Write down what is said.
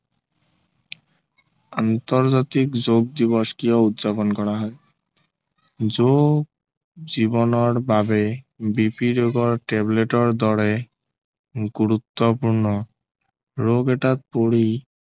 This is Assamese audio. আন্তৰ্জাতিক যোগ দিৱস কিয় উদযাপন কৰা হয় যোগ জীৱনৰ বাবে BP ৰোগৰ tablet ৰ দৰে গুৰুত্বপূৰ্ণ ৰোগ এটাত পৰি